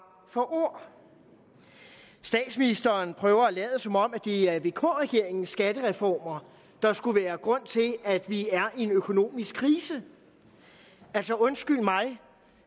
for ord statsministeren prøver at lade som om det er vk regeringens skattereformer der skulle være grund til at vi er i en økonomisk krise altså undskyld mig